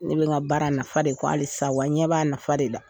Ne bɛ n ka baara nafa de kɔ halisa wa n ɲɛ b'a nafa de la